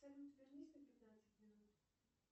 салют вернись на пятнадцать минут